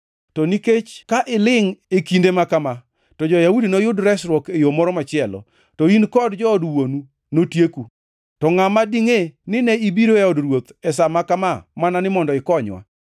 To nikech ka ilingʼ e kinde ma kama, to jo-Yahudi noyud resruok e yo moro machielo, to in kod jood wuonu notieku. To ngʼama dingʼe ni ne ibiro e od ruoth e sa ma kama mana ni mondo ikonywa?”